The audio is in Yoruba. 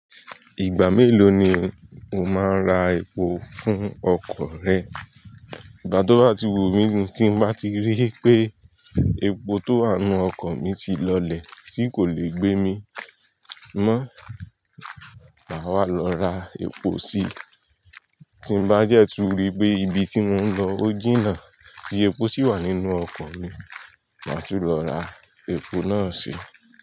Ìgbà mélòó ni o máa ń ra epo fún ọkọ̀ rẹ? Ìgbà tó bá ti wù mí mu tí mo bá ti rí pé epo tó wà nínú ọkọ̀ mi ti lọlẹ̀ tí kò lè gbé mi mọ́, màá wá lọ ra epo sí. Tí mo bá dẹ́ tú rí pé ibi tí mò ń lọ ó jìnnà tí epo sì wà nínú ọkọ̀ mi, màá tún lọ ra epo náà si.